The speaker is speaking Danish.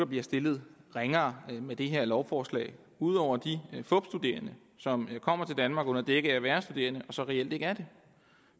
bliver stillet ringere med det her lovforslag ud over de fupstuderende som kommer til danmark under dække af at være studerende og så reelt ikke er det